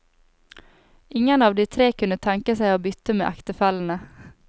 Ingen av de tre kunne tenke seg å bytte med ektefellene.